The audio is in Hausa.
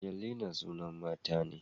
Angelina sunan mata ne